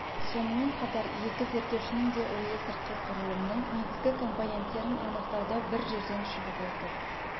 сонымен қатар екі зерттеушінің де ойы сыртқы құрылымның негізгі компоненттерін анықтауда бір жерден шығып отыр